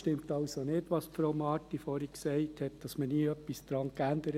Es stimmt also nicht, was Frau Marti gesagt hat, dass man daran nie etwas geändert hat.